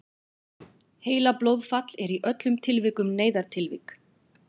heilablóðfall er í öllum tilvikum neyðartilvik